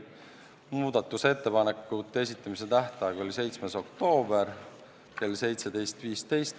Muudatusettepanekute esitamise tähtaeg oli 7. oktoobril kell 17.15.